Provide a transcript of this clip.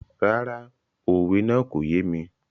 Rárá, òwe náà kò yé mi.